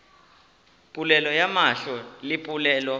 polelo ya mahlo le polelo